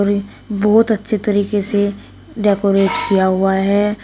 और ये बहुत अच्छे तरीके से डेकोरेट किया हुआ है।